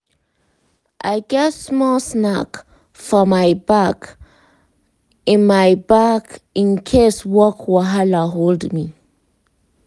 i get small snack for my bag in my bag in case work wahala hold me.